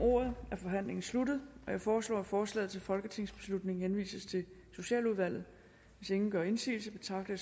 ordet er forhandlingen sluttet jeg foreslår at forslaget til folketingsbeslutning henvises til socialudvalget hvis ingen gør indsigelse betragter